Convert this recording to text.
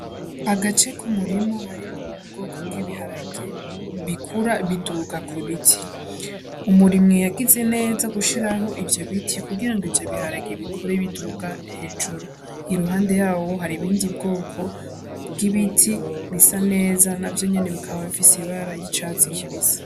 Agace ku murima harimwo ubwoko bw'ibiharage bikura biduka ku biti, umurimyi yagize neza gushiraho ivyo biti kugira ngo ivyo biharagiye bikure biduka hejuru, iruhande yaho hari ibindi bwoko bw'ibiti bisa neza navyo nyene bikaba bifise ibara y'icatsi kibisi.